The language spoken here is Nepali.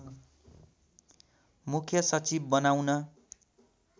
मुख्य सचिव बनाउन